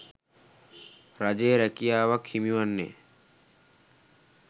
රජයේ රැකියාවක් හිමිවන්නේ